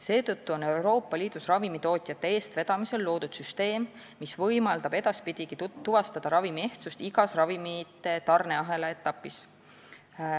Seetõttu on Euroopa Liidus ravimitootjate eestvedamisel loodud süsteem, mis võimaldab edaspidigi tuvastada ravimi ehtsust igas ravimite tarneahela etapis.